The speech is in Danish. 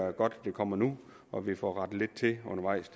er godt det kommer nu og at vi får rettet lidt til undervejs